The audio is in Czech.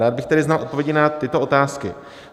Rád bych tedy znal odpovědi na tyto otázky: